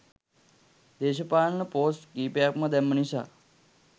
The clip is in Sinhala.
දේශපාලන පෝස්ට් කීපයක්ම දැම්ම නිසා